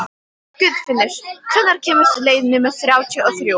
Guðfinnur, hvenær kemur leið númer þrjátíu og þrjú?